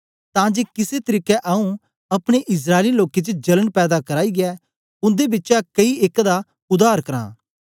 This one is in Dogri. तां जे किसे तरीके आऊँ अपने इस्राएली लोकें च जलन पैदा कराईयै उन्दे बिचा कई एक दा उद्धार करां